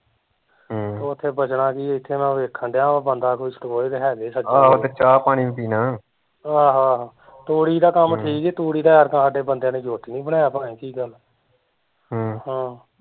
ਹਮ ਓਥੇ ਬਚਣਾ ਕੀ, ਇੱਥੇ ਮੈਂ ਦੇਖਣ ਡਿਆ ਵਾ ਕੋਈ ਬੰਦਾ ਵੀ ਆਹੋ ਆਹੋ, ਤੂੜੀ ਦਾ ਕੰਮ ਠੀਕ ਈ ਤੂੜੀ ਦਾ ਐਤਕਾਂ ਸਾਡੇ ਬੰਦਿਆ ਨੇ ਜੁੱਟ ਨੀ ਬਣਾਇਆ ਪਤਾ ਨੀ ਕੀ ਗੱਲ ਹਮ ਹਮ